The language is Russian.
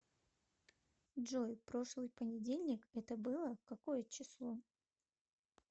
джой прошлый понедельник это было какое число